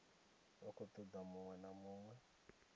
khou toda uri munwe na